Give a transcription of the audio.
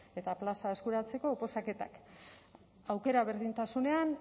eta plaza eskuratzeko oposaketak aukera berdintasunean